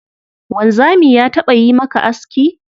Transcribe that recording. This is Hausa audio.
Wanzami ya taɓa yi maka aski?